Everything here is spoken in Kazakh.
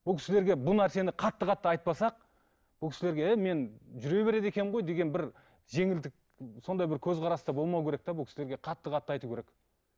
бұл кісілерге бұл нәрсені қатты қатты айтпасақ бұл кісілерге е мен жүре береді екенмін ғой деген бір жеңілдік сондай бір көзқараста болмау керек те бұл кісілерге қатты қатты айту керек